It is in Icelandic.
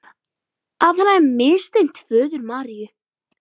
Að hann hefði misþyrmt föður Maríu.